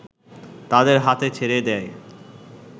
তাদের হাতে ছেড়ে দেয়